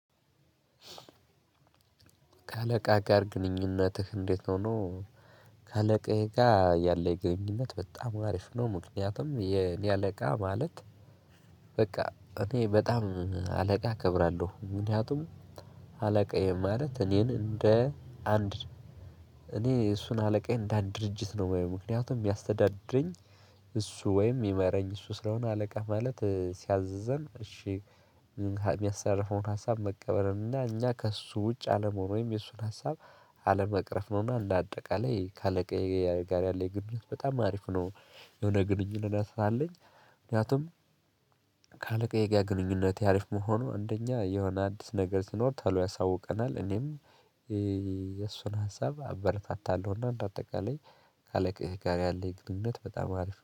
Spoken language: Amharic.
ከአለቃ ጋር ግንኙነትህ እንዴት ነው? ነው ከአለቃህ ጋር ያለኝ ግንኙነት በጣም አሪፍ ነው። ምክንያቱም የኔ አለቃ ማለት በቃ እኔ በጣም አለቃ እከብራለሁ። ምክንያቱም አለቃዬ ማለት እኔን እንደ አንድ እኔ እሱን አለቃዬ እንዳን ድርጅት ነው የማየው። ምክንያቱም የሚያስተዳድረኝ እሱ ወይም የሚመራኝ እሱ ስለሆነ። አለቃ ማለት ሲያዝዘን እሺ የሚያስተላልፈውን ሀሳብ መቀበል ነውና እኛ ከእሱ ውጭ አለም ሆኖ ወይም የእሱን ሀሳብ አለመቅረፍ ነውና። አንዳጠቃላይ ከአለቃዬ ጋር ያለኝ የግብረት በጣም አሪፍ ነው የሆነ ግንኙነት አለኝ። ወዲያውኑም ከአለቃ የጋር ግንኙነት ያሪፍ መሆኑ እንደኛ የሆነ አዲስ ነገር ስኖር ተሎ ያሳውቀናል። እኔም የእሱን ሀሳብ አበረታታለሁና እንደ አጠቃላይ ከአለቃችን ጋር ያለኝ ግንኙነት በጣም አሪፍ ነው